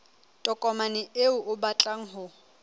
tokomane eo o batlang ho